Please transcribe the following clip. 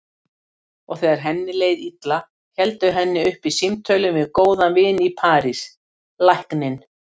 Og þegar henni leið illa héldu henni uppi símtölin við góðan vin í París, lækninn